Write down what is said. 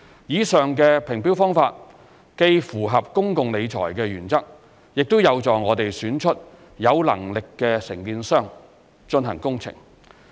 以上的評標方法既符合公共理財原則，亦有助我們選出有能力的承建商進行工程。